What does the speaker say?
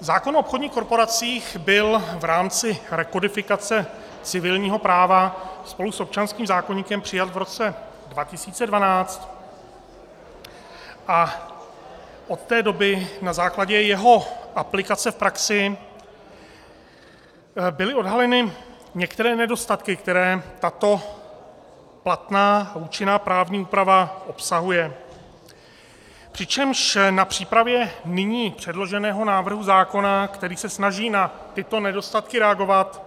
Zákon o obchodních korporacích byl v rámci rekodifikace civilního práva spolu s občanským zákoníkem přijat v roce 2012 a od té doby na základě jeho aplikace v praxi byly odhaleny některé nedostatky, které tato platná a účinná právní úprava obsahuje, přičemž na přípravě nyní předloženého návrhu zákona, který se snaží na tyto nedostatky reagovat,